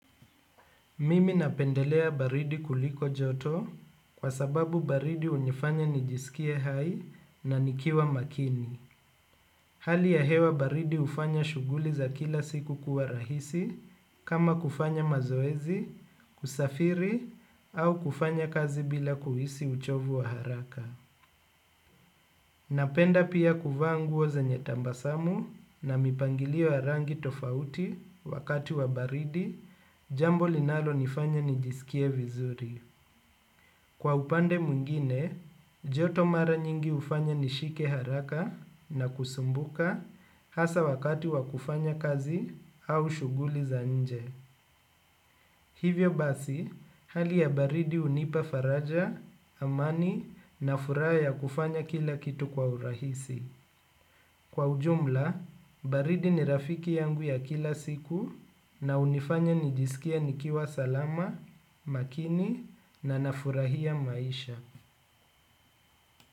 Mimi napendelea baridi kuliko joto kwa sababu baridi unifanya nijisikie hai na nikiwa makini. Hali ya hewa baridi hufanya shughuli za kila siku kuwa rahisi kama kufanya mazoezi, kusafiri au kufanya kazi bila kuhisi uchovu wa haraka. Napenda pia kuvaa nguo zenye tabasamu na mipangilio ya rangi tofauti wakati wa baridi jambo linalonifanya nijisikie vizuri. Kwa upande mwingine joto mara nyinvingine hufanya nishike haraka na kusumbuka hasa wakati wa kufanya kazi na shughuli za nje. Hivyo basi, hali ya baridi hunipa faraja, amani na furaha ya kufanya kila kitu kwa urahisi. Kwa ujumla, baridi ni rafiki yangu ya kila siku na hunifanya nijisikie nikiwa salama, makini na nafurahia maisha.